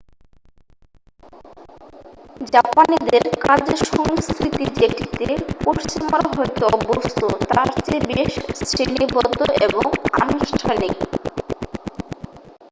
জাপানিদের কাজের সংস্কৃতি যেটিতে পশ্চিমারা হয়তো অভ্যস্ত তার চেয়ে বেশ শ্রেণিবদ্ধ এবং আনুষ্ঠানিক